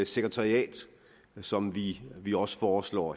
sekretariat som vi vi også foreslår